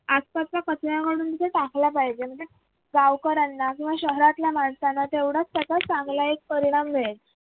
आसपासचा कचरा काढून ते टाकला पाहिजे गावकऱ्यांना शहरातल्या माणसांना तेवढाच चांगला एक परिणाम मिळेल.